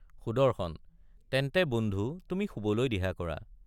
সুদৰ্শন— তেন্তে বন্ধু তুমি শুবলৈ দিহা কৰা।